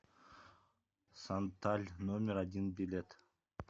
санталь номер один билет